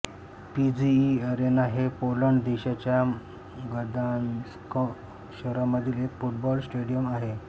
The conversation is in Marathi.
पीजीई अरेना हे पोलंड देशाच्या गदान्स्क शहरामधील एक फुटबॉल स्टेडियम आहे